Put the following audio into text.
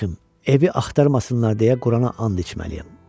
Şeyxim, evi axtarmasınlar deyə Qurana and içməliyəm.